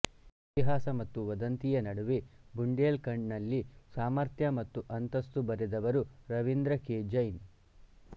ಇತಿಹಾಸ ಮತ್ತು ವದಂತಿಯ ನಡುವೆ ಬುಂಡೇಲ್ ಖಂಡ್ ನಲ್ಲಿ ಸಾಮರ್ಥ್ಯ ಮತ್ತು ಅಂತಸ್ತು ಬರೆದವರು ರವೀಂದ್ರ ಕೆ ಜೈನ್